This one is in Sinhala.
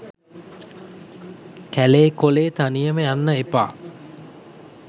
කැලේ කොලේ තනියම යන්න එපා